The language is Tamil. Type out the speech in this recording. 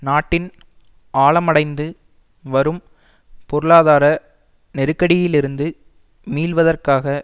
நாட்டின் ஆழமடைந்து வரும் பொருளாதார நெருக்கடியிலிருந்து மீள்வதற்காக